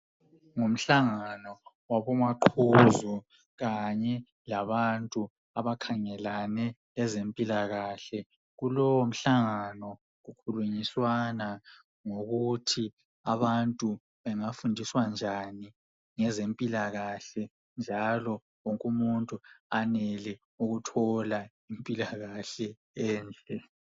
Ngumhlangano wabomaqhuzu kanye labantu abakhangelane leze mpilakahle. Kulowo mhlangano kukhulunyiswana ngokuthi abantu bengafundiswa njani ngezempilakahle njalo wonke umuntu anele ukuthola impilakahle enhle.